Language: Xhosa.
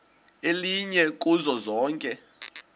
elinye kuzo zonke